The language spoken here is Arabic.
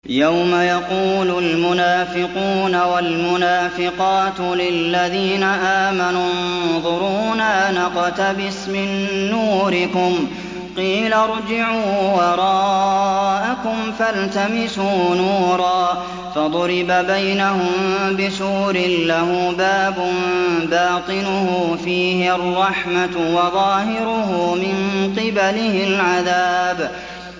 يَوْمَ يَقُولُ الْمُنَافِقُونَ وَالْمُنَافِقَاتُ لِلَّذِينَ آمَنُوا انظُرُونَا نَقْتَبِسْ مِن نُّورِكُمْ قِيلَ ارْجِعُوا وَرَاءَكُمْ فَالْتَمِسُوا نُورًا فَضُرِبَ بَيْنَهُم بِسُورٍ لَّهُ بَابٌ بَاطِنُهُ فِيهِ الرَّحْمَةُ وَظَاهِرُهُ مِن قِبَلِهِ الْعَذَابُ